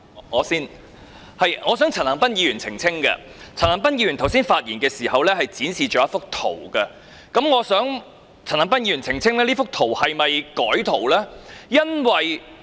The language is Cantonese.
我先，我想陳恒鑌議員澄清，他剛才發言時展示了一幅圖片，我想請陳恒鑌議員澄清他那幅圖片曾否被修改？